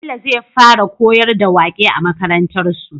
Bello zai fara koyar da waƙe a makarantar su